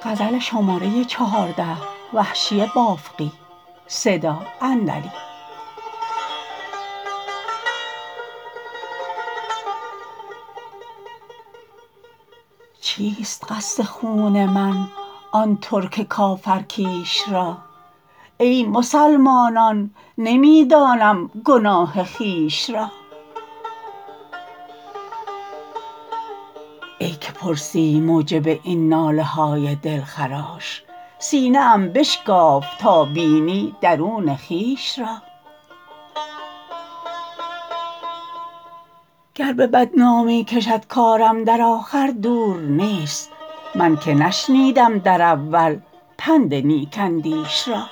چیست قصد خون من آن ترک کافر کیش را ای مسلمانان نمی دانم گناه خویش را ای که پرسی موجب این ناله های دلخراش سینه ام بشکاف تا بینی درون خویش را گر به بدنامی کشد کارم در آخر دور نیست من که نشنیدم در اول پند نیک اندیش را